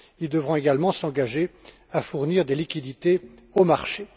Ils devront également s'engager à fournir des liquidités aux marchés.